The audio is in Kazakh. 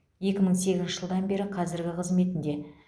екі мың сегізінші жылдан бері қазіргі қызметінде